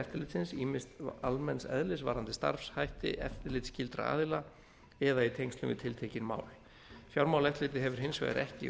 eftirlitsins ýmist almenns eðlis varðandi starfshætti eftirlitsskyldra aðila eða í tengslum við tiltekin mál fjármálaeftirlitið hefur hins vegar ekki